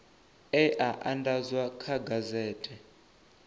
e a andadzwa kha gazethe